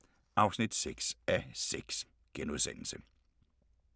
01:25: På mission i underverdenen (6:6)*